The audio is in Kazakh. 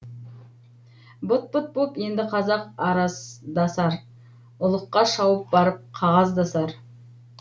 быт быт боп енді қазақ араздасар ұлыққа шауып барып қағаздасар